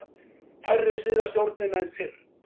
Færri styðja stjórnina en fyrr